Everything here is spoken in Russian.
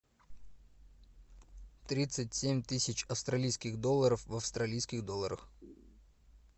тридцать семь тысяч австралийских долларов в австралийских долларах